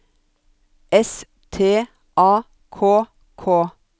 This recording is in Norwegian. S T A K K